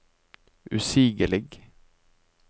usigelig